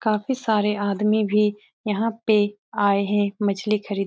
काफी सारे आदमी भी यहाँ पे आए हैं मछ्ली खरीद --